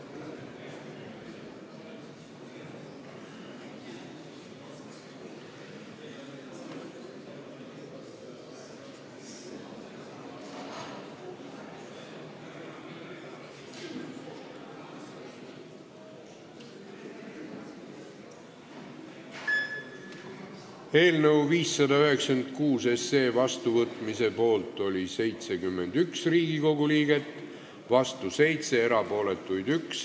Hääletustulemused Eelnõu 596 vastuvõtmise poolt oli 71 Riigikogu liiget, vastu 7, erapooletuid 1.